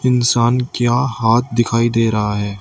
इंसान का हाथ दिखाई दे रहा है।